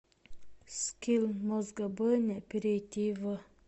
скилл мозгобойня перейди в